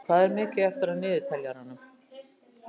Erró, hvað er mikið eftir af niðurteljaranum?